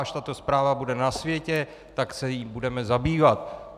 Až tato zpráva bude na světě, tak se jí budeme zabývat.